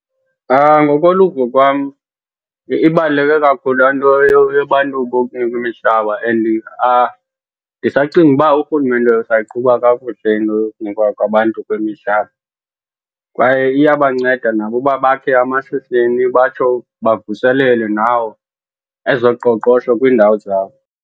Ngokoluvo kwam ibaluleke kakhulu laa nto yabantu bokunikwa imhlaba and ndisacinga uba urhulumente usayiqhuba kakuhle into yokunikwa kwabantu kwemihlaba. Kwaye iyabanceda nabo uba bakhe amashishini batsho bavuselele nawo ezoqoqosho kwiindawo zabo.